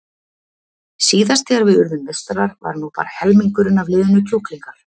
Síðast þegar við urðum meistarar var nú bara helmingurinn af liðinu kjúklingar.